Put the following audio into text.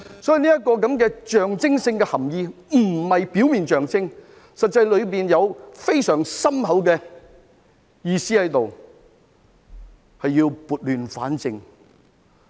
所以，這個象徵性的含意不是表面的象徵，實際上當中有非常深厚的意思，是要撥亂反正。